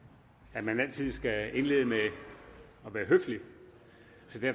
at man altid skal indlede med at være høflig